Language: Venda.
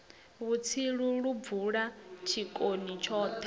vhutsilu lu bvula tshitoni thoni